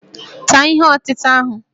Taa ihe ọtịta ahụ!